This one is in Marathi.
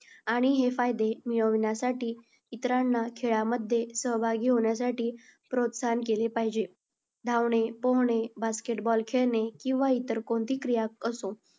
आणि हे फायदे मिळवण्यासाठी इतरांना खेळामध्ये सहभागी होण्यासाठी प्रोत्साहन केले पाहिजे. धावणे, पोहणे, basket ball खेळणे किंवा इतर कोणती क्रिया असो,